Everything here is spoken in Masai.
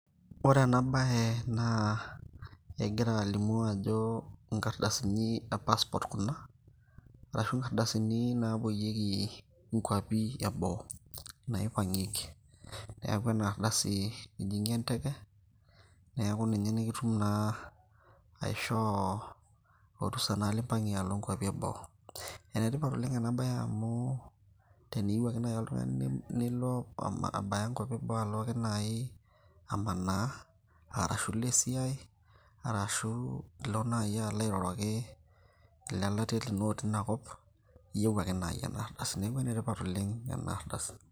Ore ena bae naa, egira alimu ajo inkardasini e passport kuna, arashu inkardasini napoyieki Inkwapi eboo. Naipang'ieki. Neeku enardasi ijing'ie enteke, neeku ninye nikitum naa aishoo orusa nai limpang'ie alo nkwapi eboo. Enetipat oleng enabae amu, teniu ake nai oltung'ani nilo abaya nkwapi eboo alo ake nai amanaa, arashu ilo esiai, arashu ilo nai alo airoroki ilelatia lino otii inakop, iyieu ake nai enardasi. Neeku enetipat oleng' enardasi.